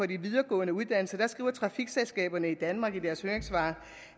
de videregående uddannelser skriver trafikselskaberne i danmark i deres høringssvar